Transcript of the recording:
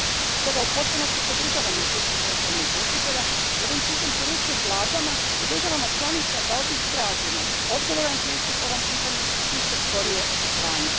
Stoga upotpunosti podržavam izvješće poštovanih izvjestitelja i ovim putem poručujem vladama i državama članicama da od njih tražimo odgovoran pristup ovom pitanju i što skorije očitovanje.